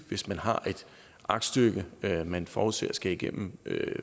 hvis man har et aktstykke man forudser skal igennem